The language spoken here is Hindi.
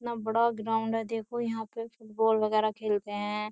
इतना बड़ा ग्राउंड है देखो यहाँ पे बाल वगैरह खेलते हैं।